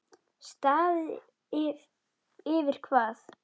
Staðið yfir hvað?